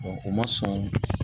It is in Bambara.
o ma sɔn